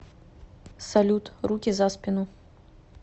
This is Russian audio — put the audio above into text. салют руки за спину